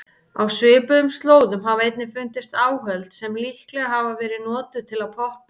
Á svipuðum slóðum hafa einnig fundist áhöld sem líklega hafa verið notuð til að poppa.